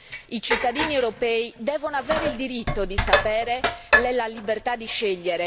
I cittadini europei devono avere il diritto di sapere e la libertà di scegliere.